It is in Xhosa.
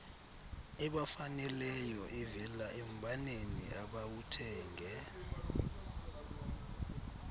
ebafaneleyoevela embaneni abawuthenge